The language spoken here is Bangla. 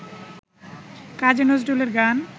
কাজী নজরুলের গান